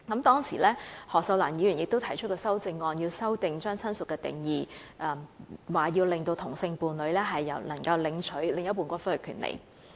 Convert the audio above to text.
當時，前議員何秀蘭提出了修正案，要求修改親屬的定義，令同性伴侶可享有領取另一半的骨灰的權利。